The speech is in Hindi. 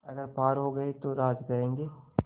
अगर पार हो गये तो राज करेंगे